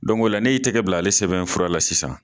la n y'i tiga bila, ale sɛbɛnfura la sisan